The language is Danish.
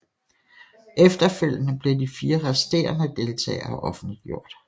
Efterfølgende blev de 4 resterende deltagere offentliggjort